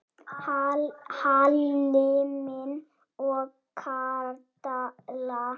Hilmar og Katla.